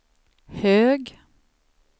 hög